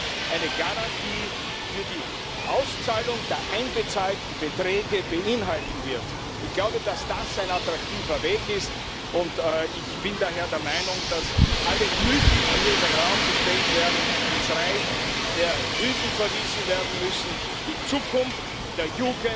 zu können. Man empfiehlt deshalb wie auch hier im Hause die private Altersvorsorge, was nicht einer gewissen Ironie entbehrt, denn die private Rentenvorsorge wird durch die Politik